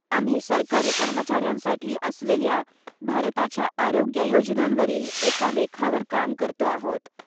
आम्ही सरकारी कर्मचाऱ्यांसाठी असलेल्या भारताच्या आरोग्य योजनांवरील एका लेखावर काम करतो आहोत.